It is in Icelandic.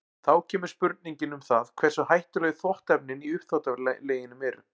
Þá kemur spurningin um það hversu hættuleg þvottaefnin í uppþvottaleginum eru.